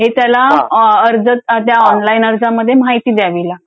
हे त्याला अर्ज त्या ऑनलाईन अर्जामध्ये माहिती द्यावी लागते.